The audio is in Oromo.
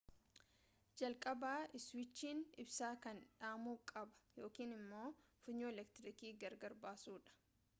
jalqaba iswiichiin ibsaa kanaa dhaamu qaba yookiin ammo funyoo eleektriikii gargar baasuudha